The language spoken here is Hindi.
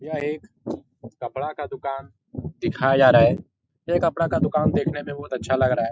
यह एक कपड़ा का दुकान दिखाया जा रहा है । ये कपड़ा का दुकान देखने में बहुत अच्छा लग रहा है |